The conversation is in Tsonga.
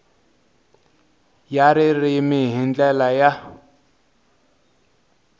ya ririmi hi ndlela ya